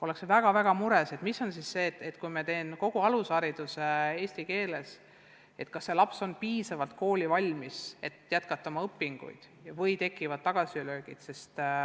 Ollakse väga mures, et kui laps saab kogu alushariduse eesti keeles, kas ta siis on piisavalt koolivalmis, et selles keeles õpinguid jätkata, või tekivad tagasilöögid.